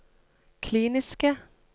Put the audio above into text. kliniske